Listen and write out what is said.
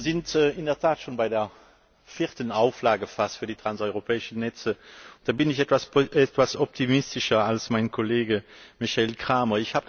Wir sind in der Tat schon fast bei der vierten Auflage für die transeuropäischen Netze. Da bin ich etwas optimistischer als mein Kollege Michael Cramer.